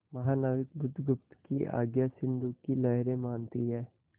महानाविक बुधगुप्त की आज्ञा सिंधु की लहरें मानती हैं